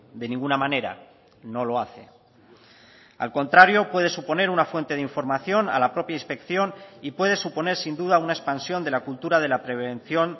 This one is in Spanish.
de ninguna manera no lo hace al contrario puede suponer una fuente de información a la propia inspección y puede suponer sin duda una expansión de la cultura de la prevención